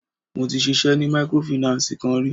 Mo ti ṣisẹ́ ni mikorofìnánsìì kan rí.